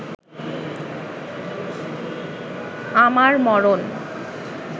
আমার মরণ